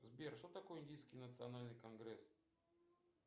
сбер что такое индийский национальный конгресс